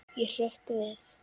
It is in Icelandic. Ég hrökk við.